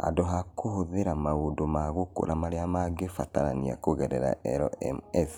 Handũ ha kũhũthĩra maũndũ ma gũkũra marĩa mangĩbatarania kũgerera LMS